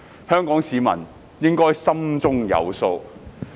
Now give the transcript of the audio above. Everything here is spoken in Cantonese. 香港市民應該心中有數。